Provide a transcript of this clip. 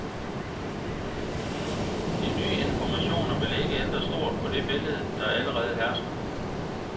De nye informationer vil ikke ændre stort på det billede, der allerede hersker.